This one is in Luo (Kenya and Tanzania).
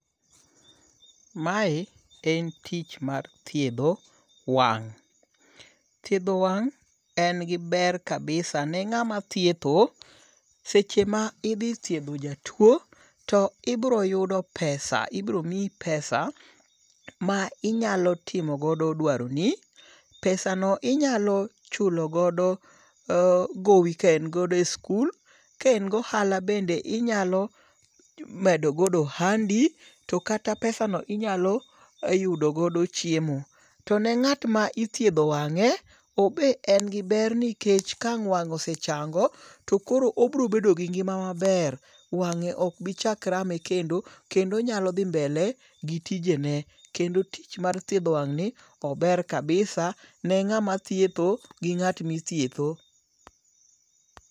Mae en tich mar thiedho wang'. Thiedho wang' en gi ber kabisa ne ng'ama thietho. Seche ma idhi thiedho jatuo to ibiro yudo pesa. Ibiro miyi pesa ma inyalo timogodo dwaroni. Pesa no inyalo chulogodo gowi ka en godo e skul. Ka en gohala bende inyalo medo godo ohandi. To kata pesano inyalo yudogodo chiemo. To ne ngat me ithiedho wang'e obe en gi ber nikech ka ang' wang'e osechango to koro obiro bedo gi ngima maber. Wang'e ok be chak rame kendo. Kendo onyalo dhi mbele gi tijene. Kendo tich mar thiedho wang' ni ober kabisa ne ng'ama thietho gi ng'at mithietho.